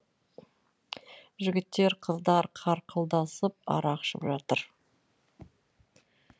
жігіттер қыздар қарқылдасып арақ ішіп жатыр